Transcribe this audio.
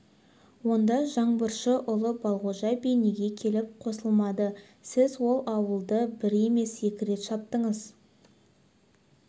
онда жаңбыршы ұлы балғожа би неге келіп қосылмады сіз ол ауылды бір емес екі рет шаптыңыз